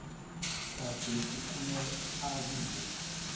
gadesi kumele abiwe